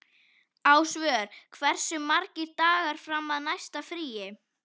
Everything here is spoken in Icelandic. Ásvör, hversu margir dagar fram að næsta fríi?